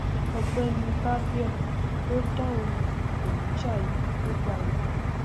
ọgbẹni barbier ló dáhùn ìpèníjà yìí nígbà náà